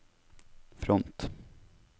front